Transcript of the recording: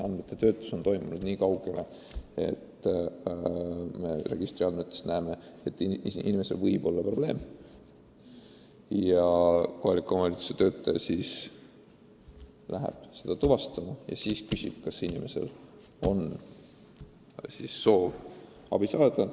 Andmete töötlus on piirdunud sellega, et registriandmetest on nähtud, et inimesel võib olla probleem, ja kohaliku omavalitsuse töötaja läheb ja küsib, kas ta soovib abi saada.